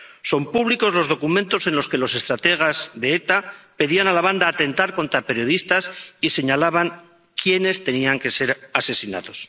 Son públicos los documentos en los que los estrategas de ETA pedían a la banda atentar contra periodistas y señalaban a quienes tenían que ser asesinados.